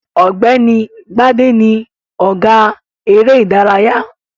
Ọ̀gbẹ́ni Gbádé ni ọ̀gá eré-ìdárayá.